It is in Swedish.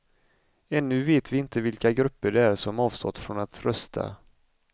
Ännu vet vi inte vilka grupper det är som avstått från att rösta.